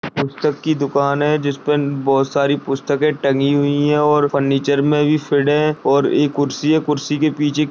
पुस्तक की दुकान है जिस पर बहुत सारी पुस्तकें टंगी हुई है और फर्नीचर में भी फीड है और ये कुर्सी है और कुर्सी के पीछे --